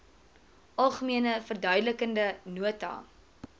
algemene verduidelikende nota